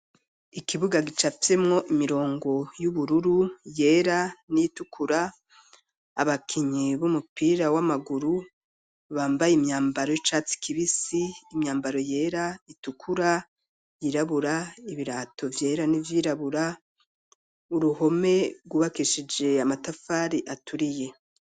ikibuga gicafyemwo imirongo y'ubururu yera n'itukura abakinyi b'umupira w'amaguru bambaye imyambaro y'icatsi kibisi imyambaro yera itukura yirabura ibirato vyera n'ivy'irabura uruhome gwubakishije amatafari aturiye.